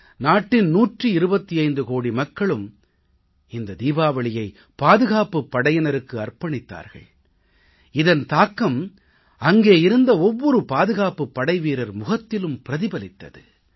நாட்டின் 125 கோடி மக்களூம் இந்த தீபாவளியை பாதுகாப்புப் படையினருக்கு அர்ப்பணித்தார்கள் இதன் தாக்கம் அங்கே இருந்த ஒவ்வொரு பாதுகாப்புப் படைவீரர் முகத்திலும் பிரதிபலித்தது